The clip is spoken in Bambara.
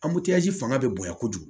fanga bɛ bonya kojugu